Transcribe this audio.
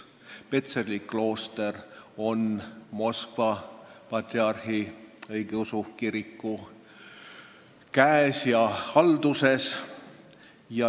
Petseri klooster on Moskva ja kogu Venemaa patriarhile alluva õigeusu kiriku käes ja halduses.